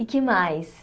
E o que mais?